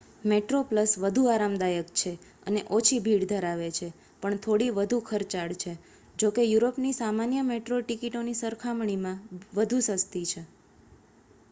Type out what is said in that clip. Metroplus વધુ આરામદાયક છે અને ઓછી ભીડ ધરાવે છે પણ થોડી વધુ ખર્ચાળ છે જોકે યુરોપની સામાન્ય મેટ્રો ટિકિટોની સરખામણીમાં વધુ સસ્તી છે